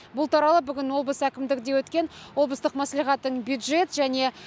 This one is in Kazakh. бұл туралы бүгін облыс әкімдігінде өткен облыстық мәслихаттың бюджет және